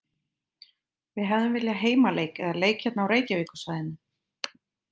Við hefðum viljað heimaleik eða leik hérna á Reykjavíkursvæðinu.